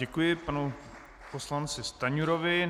Děkuji panu poslanci Stanjurovi.